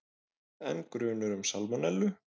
Enn grunur um salmonellu